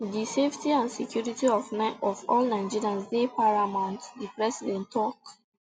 di safety and security of all nigerians dey paramount di president tok